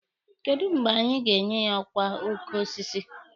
Kedụ mgbe anyị ga-enye ya ọkwa oke osisi?